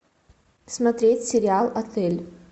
смотреть сериал отель